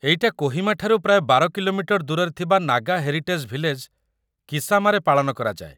ଏଇଟା କୋହିମାଠାରୁ ପ୍ରାୟ ୧୨ କିଲୋମିଟର ଦୂରରେ ଥିବା ନାଗା ହେରିଟେଜ୍ ଭିଲେଜ୍‌‌, କିସାମାରେ ପାଳନ କରାଯାଏ ।